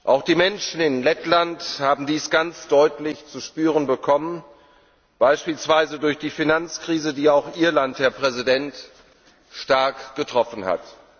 Auch die Menschen in Lettland haben dies ganz deutlich zu spüren bekommen, beispielsweise durch die Finanzkrise, die auch Ihr Land, Herr Präsident, stark getroffen hat.